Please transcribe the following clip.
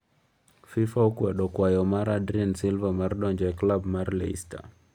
Fifa okwedo kwayo mar adrien silva mar donjo e tub mar leicester